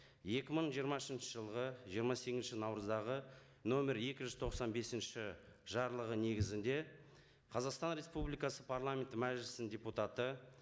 екі мың жиырмасыншы жылғы жиырма сегізінші наурыздағы нөмір екі жүз тоқсан бесінші жарлығы негізінде қазақстан республикасы парламенті мәжілісінің депутаты